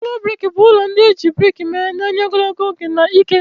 Ụlọ brik bụ ụlọ ndị e ji brik mee, na-enye ogologo oge na ike.